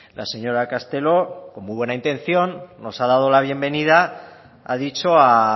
la señora castelo con muy buena intención nos ha dado la bienvenida ha dicho a